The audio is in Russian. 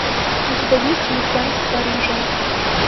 у тебя есть уик энд в париже